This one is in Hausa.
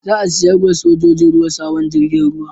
Za a saya ma sojojin ruwa sabon jirgin ruwa